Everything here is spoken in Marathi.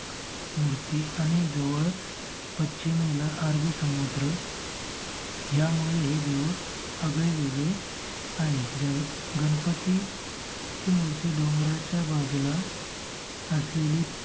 मूर्ति आणि जवळच पच्चीमेला अरबी समुद्र ह्यामुळे हे देऊळ आगळे वेगळे आहे. जर गणपतीची मूर्ति डोंगराच्या बाजूला असलेली